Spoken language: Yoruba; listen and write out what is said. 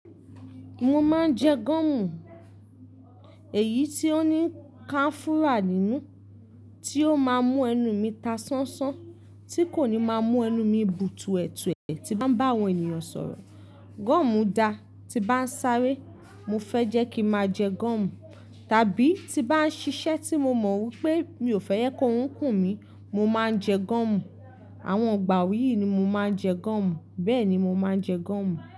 Mo máa ń jẹ gọ́ọ̀mù, èyí ti ó ní kanfúrà nínú tí ó máa mú ẹnu mi ta sánsán, tí kò ní máa mú ẹnu mi bùtuẹ̀tuẹ̀ tí n bá ń bá àwọn ènìyàn sọ̀rọ̀. Gọ́ọ̀mù dáa, tí n bá ń sáré, mo fẹ́ jẹ́ kí n máa jẹ gọ́ọ̀mù, tàbí tí n bá ń ṣiṣẹ́ tí mo mọ̀ wípé mi ò fẹ́ jẹ ki orun kùn mí, mo máa ń jẹ gọ́ọ̀mù. Àwọn ìgbà wọ̀nyí ni mo máa ń jẹ gọ́ọ̀mù, bẹ́ẹ̀ ni mo máa ń jẹ gọ́ọ̀mù.